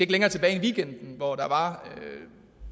længere tilbage end weekenden hvor der var en